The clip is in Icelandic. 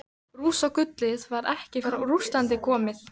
Rússagullið var ekki frá Rússlandi komið.